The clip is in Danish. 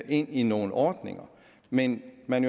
ind i nogle ordninger men man